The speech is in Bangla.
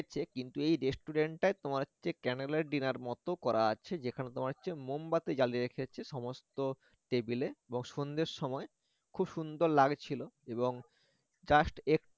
ছে কিন্তু এই restaurant টায় তোমার candle light dinner মত করা আছে যেখানে তোমার হচ্ছে মোমবাতি জ্বালিয়ে রেখেছে সমস্ত টেবিলে এবং সন্ধ্যের সময় খুব সুন্দর লাগছিল এবং just একটু